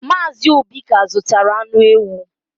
Mazị Obi ka zụtara anụ ewu.